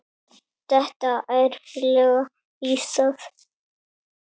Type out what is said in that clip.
Detta ærlega í það.